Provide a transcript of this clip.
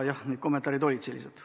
Jah, need kommentaarid olid sellised.